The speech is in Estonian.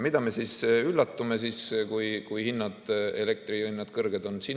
Miks me siis üllatume, kui elektrihinnad kõrged on?